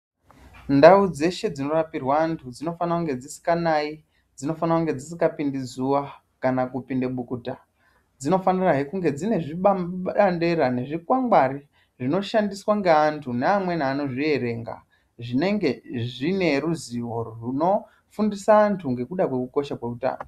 Ndau dzeshe dzinorapirwe antu dzinofana kunge dzisinganayi. Dzinofana kunge dzisingapindi zuwa nekupinda bukuta. Dzinofanirazve kuve dzine zvibandera nezvikwangwari zvinoshandiswa ngaentu neamweni anozvierenga zvinenge zvine ruzivo rwunofundisa antu ngekuda kwekukosha kweutano.